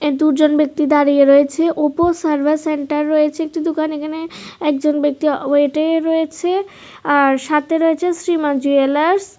দুজন ব্যক্তি দাঁড়িয়ে রয়েছে ওপো সার্ভিস সেন্টার রয়েছে একটি দোকান এখানে একজন ব্যক্তি ওয়েটিংয়ে রয়েছে আর সাথে রয়েছে শ্রী মা জুয়েলার্স ।